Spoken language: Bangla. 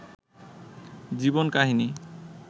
জীবন কাহিনী